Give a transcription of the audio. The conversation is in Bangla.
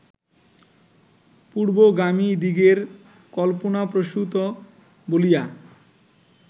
পূর্বগামীদিগের কল্পনাপ্রসূত বলিয়া